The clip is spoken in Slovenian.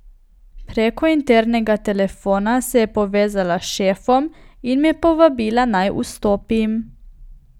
Preko internega telefona se je povezala s šefom in me povabila, naj vstopim.